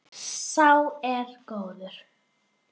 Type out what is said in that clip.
Sá er góður.